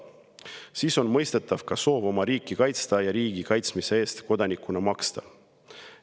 Siis on mõistetav ka soov oma riiki kaitsta ja riigi kaitsmise eest kodanikuna maksta.